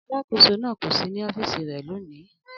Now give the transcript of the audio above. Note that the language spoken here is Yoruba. Alákòóso náà kò sí ní ọ́fíìsì rẹ̀ lónìí